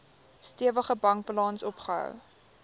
stewige bankbalans opgebou